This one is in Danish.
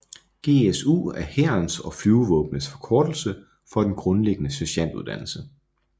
GSU er hærens og flyvevåbnets forkortelse for den grundlæggende sergentuddannelse